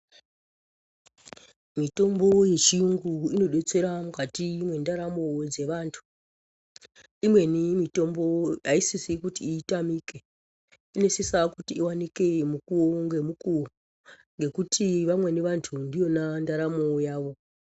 Mitombo ye chiyungu ino detsera mukati mwe ndaramo dze vantu imweni mitombo ayi sisi kuti itamike ino sisa kuti iwanike mukuwo nge mukuwo ngekuti vamweni vantu ndiyona ndaramo yavo.